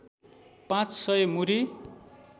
पाँच सय मुरी